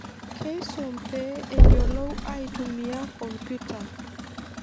Keisum pee eyiolou aitumia computer.